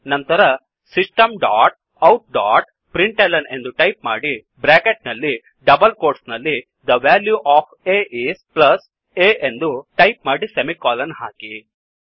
ನಂತರ system dot out dot println ಎಂದು type ಮಾಡಿ ಬ್ರ್ಯಾಕೆಟ್ ನಲ್ಲಿ ಡಬಲ್ ಕೋಟ್ಸ್ ನಲ್ಲಿThe value of a is plus a ಎಂದು ಟೈಪ್ ಮಾಡಿ ಸೆಮಿಕೋಲನ್ ಹಾಕಿ